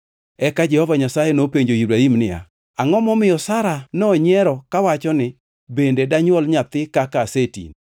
Eka Jehova Nyasaye nopenjo Ibrahim niya, “Angʼo momiyo Sara nonyiero kawacho ni, ‘Bende danywol nyathi kaka asetini?’